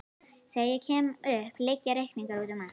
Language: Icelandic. Þegar ég kem upp liggja reikningar úti um allt.